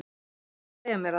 Viltu segja mér það?